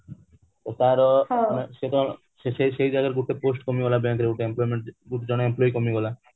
ତ ତାର ଗୋଟେ post କମିଗଲା bank ର ଜଣେ employee କମିଗଲା